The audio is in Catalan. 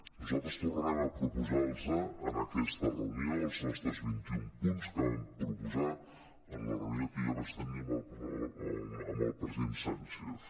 nosaltres tornarem a proposar los en aquesta reunió els nostres vint i un punts que vam proposar en la reunió que jo vaig tenir amb el president sánchez